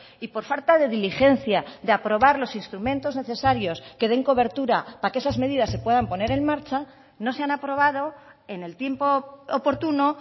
y por falta de diligencia de aprobar los instrumentos necesarios que den cobertura para que esas medidas se puedan poner en marcha no se han aprobado en el tiempo oportuno